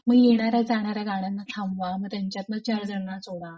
मग येणार्‍या जाणार्‍या गाड्यांना थांबा व त्यांच्यातन unintelligible